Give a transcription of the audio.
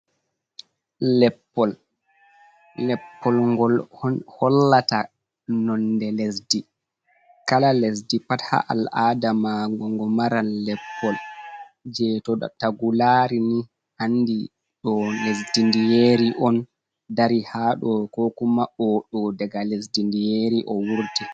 Leppol, leppol ngol hollata nonde lesdi kala lesdi pat ha al'adama mago ngo maran leppol je to tagu lari ni andi ɗo lesdi ndiyeri on dari haɗo ko kuma oɗo daga lesdi ndiyeri o wurti.